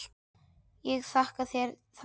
Ég þakka þér það.